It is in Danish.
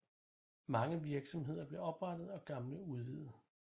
Mange virksomheder blev oprettet og gamle udvidet